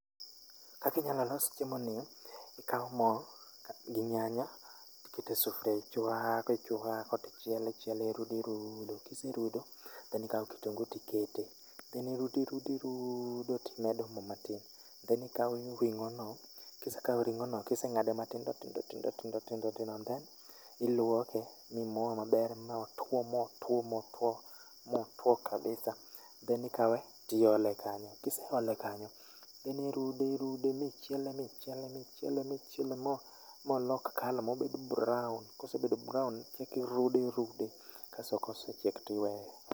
Kaka inyalo los chiemo ni, ikawo mo gi nyanya to iketo e sufuria, ichuako ichuako to ichielo, irudo mirudo kise rudo to ikawo kitungu to ikete then irudo irud irudo to imedo mo matin. then ikawo ring'o no, kise kawo ring'o no to ing'ade matindo tindo tindo tindo then iluoke, mimoye maber ma otwo motwo motwo kabisa, then ikawe to iole kanyo. Kiseole kanyo, irude irude michiele michiele michiele molok colour mobed brown. Kosebedo brown kokirude irude kasto kosechiek to iweye.